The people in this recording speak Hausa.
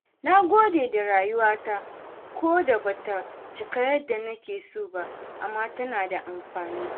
Na gode da rayuwa ta, koda ba ta cika yadda nake so ba, amma tana da amfani.